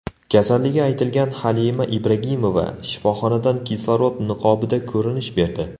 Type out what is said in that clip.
Kasalligi aytilgan Halima Ibragimova shifoxonadan kislorod niqobida ko‘rinish berdi .